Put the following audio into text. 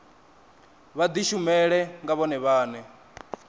vha dishumele nga vhone vhane